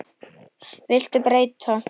Viltu breyta?